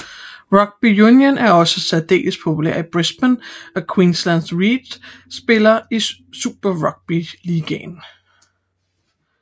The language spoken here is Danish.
Rugby Union er også særdeles populært i Brisbane og Queensland Reds spiller i Super Rugby ligaen